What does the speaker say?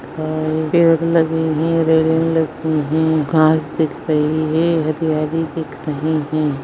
देर लगी है रेलिंग लगी है घास दिख रही है हरियाली दिख रही है।